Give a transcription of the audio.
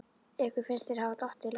Ykkur finnst þeir hafa dottið langt?